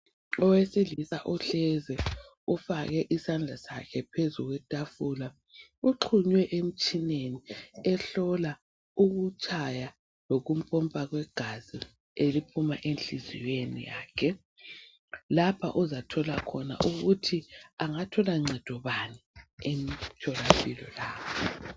Owesilisa uhlezi ufake isandla sakhe phezulu kwetafula uxhunywe emtshineni ehlola ukutshaya lokumpopa kwegazi eliphuma enhliziyo yakhe lapha ozathola khona ukuthi engathola ncedo bani emtholampilo lapho.